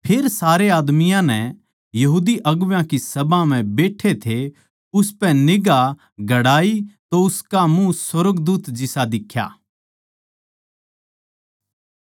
फेर सारे आदमियाँ नै बड्डी सभा म्ह बैट्ठे थे उसपै निगांह गड़ाई तो उसका मुँह सुर्गदूत जिसा दिख्या